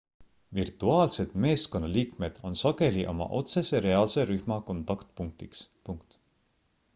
virtuaalsed meeskonnaliikmed on sageli oma otsese reaalse rühma kontaktpunktiks